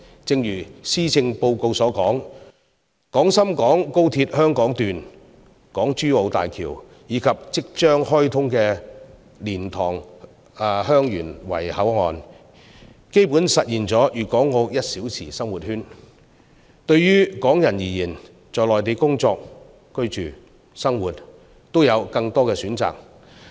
正如施政報告所說，廣深港高速鐵路香港段、港珠澳大橋，以及即將開通的蓮塘/香園圍口岸，基本實現了粵港澳"一小時生活圈"，對於港人而言，在內地工作、居住、生活都有更多選擇。